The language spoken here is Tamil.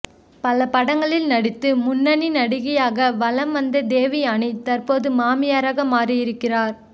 பல படங்களில் நடித்து முன்னணி நடிகையாக வலம் வந்த தேவயானி தற்போது மாமியாராக மாறி இருக்கிறார்